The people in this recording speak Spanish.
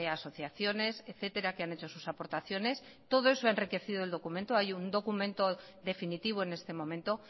asociaciones etcétera que han hecho sus aportaciones todo eso ha enriquecido el documento hay un documento definitivo en este momento